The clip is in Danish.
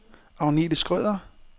Agnethe Schrøder